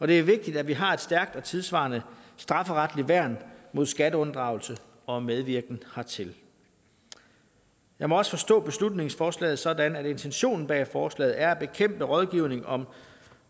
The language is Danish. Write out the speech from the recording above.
det er vigtigt at vi har et stærkt og tidssvarende strafferetligt værn mod skatteunddragelse og medvirken hertil jeg må også forstå beslutningsforslaget sådan at intentionen bag forslaget er at bekæmpe rådgivning om